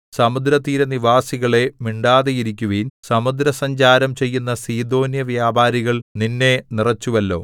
സമുദ്രതീരനിവാസികളേ മിണ്ടാതെയിരിക്കുവിൻ സമുദ്രസഞ്ചാരം ചെയ്യുന്ന സീദോന്യവ്യാപാരികള്‍ നിന്നെ നിറച്ചുവല്ലോ